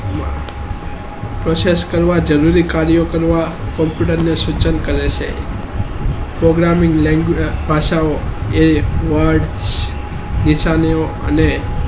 process કરવા જરૂરી કાર્ય કરવા computer ને સિંચન કરે છે programming ભાષાઓ app word હીસામેવ અને